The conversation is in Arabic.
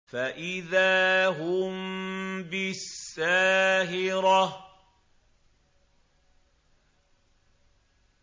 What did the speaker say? فَإِذَا هُم بِالسَّاهِرَةِ